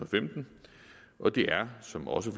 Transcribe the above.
femten og det er som også